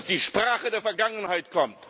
die Sprache der Vergangenheit!